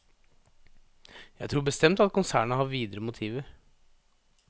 Jeg tror bestemt at konsernet har videre motiver.